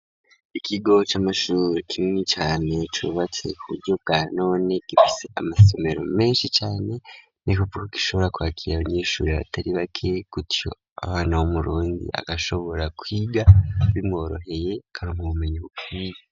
Ikiigo c'amashure kinini cane cubatse ku buryo bwa none, gifise amasomero menshi cane, ni kuvuga ko gishobora kwakira abanyeshure batari bake, gutyo abana bo mu Burundi bagashobora kwiga bimworoheye, bakaronka ubumenyi bukwiye.